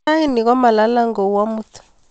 raini ko ma lalng' kou amut